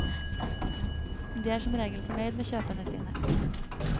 De er som regel fornøyd med kjøpene sine.